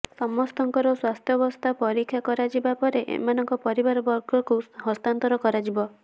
ସମସ୍ତଙ୍କର ସ୍ୱାସ୍ଥ୍ୟବସ୍ଥା ପରୀକ୍ଷା କରାଯିବା ପରେ ଏମାନଙ୍କ ପରିବାବର୍ଗଙ୍କୁ ହସ୍ତାନ୍ତର କରାଯିବ